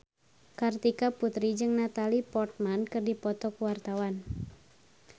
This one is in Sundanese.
Kartika Putri jeung Natalie Portman keur dipoto ku wartawan